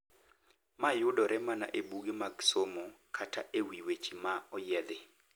Ma yudore mana e buge mag somo kata e wi weche ma oyiedhi.